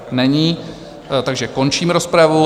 Není, takže končím rozpravu.